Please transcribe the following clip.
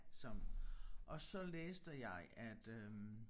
Som og så læste jeg at øh